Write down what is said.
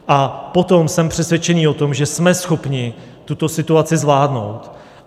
A potom jsem přesvědčený o tom, že jsme schopni tuto situaci zvládnout.